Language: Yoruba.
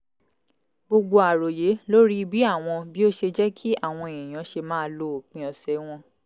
gbogbo àròyé lórí bí àwọn bí ó ṣe jẹ́ kí àwọn èèyàn ṣe máa lo òpin ọ̀sẹ̀ wọn